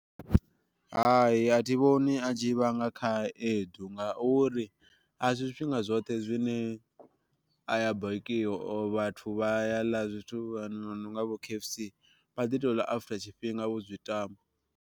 Hai a thi vhoni a tshi vhanga khaedu ngauri, a si zwi tshifhinga zwoṱhe zwine a ya bakiwa or vhathu vha ya ḽa zwithu zwo no nga vho K_F_C vha ḓi tou ḽa after tshifhinga vho zwi tama.